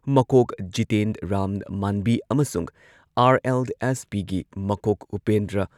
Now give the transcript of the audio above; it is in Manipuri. ꯃꯀꯣꯛ ꯖꯤꯇꯦꯟ ꯔꯥꯝ ꯃꯥꯟꯕꯤ ꯑꯃꯁꯨꯡ ꯑꯥꯔ.ꯑꯦꯜ.ꯑꯦꯁ.ꯄꯤꯒꯤ ꯃꯀꯣꯛ ꯎꯄꯦꯟꯗ꯭ꯔ